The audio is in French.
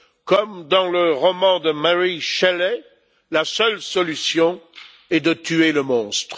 Comme dans le roman de Mary Shelley, la seule solution est de tuer le monstre.